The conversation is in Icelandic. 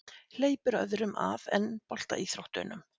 Hleypir öðrum að en boltaíþróttunum